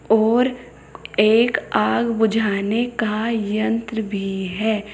और एक आग बुझाने का यंत्र भी है।